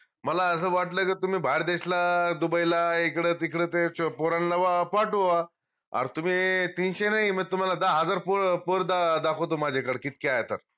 मला अस वाटलं का तुम्ही बाहेर देशला दुबईला इकडं तिकडं ते पोरांला पाठवा आज तुम्ही तीनशे नाई म तुमाला दहा हजार पोर पोर दाखवतो माझ्याकडं किती आहे तर